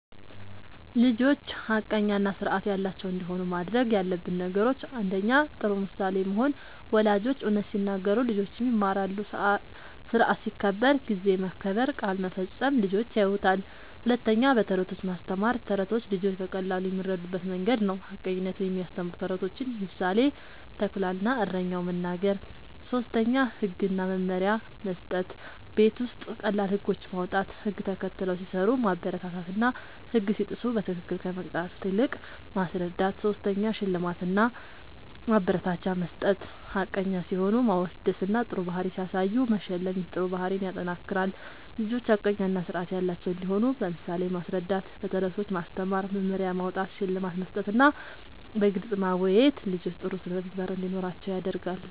ልጆች ሐቀኛ እና ስርዓት ያላቸው እንዲሆኑ ማድረግ ያለብን ነገሮችን፦ ፩. ጥሩ ምሳሌ መሆን፦ ወላጆች እውነት ሲናገሩ ልጆችም ይማራሉ። ስርዓት ሲከበር (ጊዜ መከበር፣ ቃል መፈጸም) ልጆች ያዩታል። ፪. በተረቶች ማስተማር፦ ተረቶች ልጆች በቀላሉ የሚረዱበት መንገድ ነዉ። ሐቀኝነትን የሚያስተምሩ ተረቶችን (ምሳሌ፦ “ተኩላ እና እረኛው”) መናገር። ፫. ህግ እና መመሪያ መስጠት፦ ቤት ውስጥ ቀላል ህጎች ማዉጣት፣ ህግ ተከትለው ሲሰሩ ማበረታታትና ህግ ሲጥሱ በትክክል ከመቅጣት ይልቅ ማስረዳት ፬. ሽልማት እና ማበረታቻ መስጠት፦ ሐቀኛ ሲሆኑ ማወደስና ጥሩ ባህሪ ሲያሳዩ መሸለም ይህ ጥሩ ባህሪን ያጠናክራል። ልጆች ሐቀኛ እና ስርዓት ያላቸው እንዲሆኑ በምሳሌ ማስረዳት፣ በተረቶች ማስተማር፣ መመሪያ ማዉጣት፣ ሽልማት መስጠትና በግልጽ ማወያየት ልጆች ጥሩ ስነ ምግባር እንዲኖራቸዉ ያደርጋል